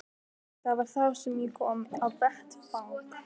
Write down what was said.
Það var þá sem ég kom á vettvang.